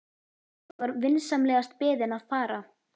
Ég var vinsamlegast beðinn að fara.